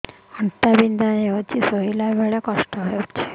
ଅଣ୍ଟା ବଥା ହଉଛି ଶୋଇଲା ବେଳେ କଷ୍ଟ ହଉଛି